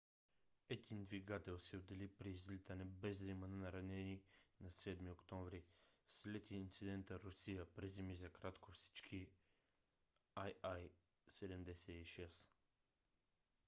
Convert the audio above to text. един двигател се отдели при излитане без да има наранени на 7 октомври. след инцидента русия приземи за кратко всички il-76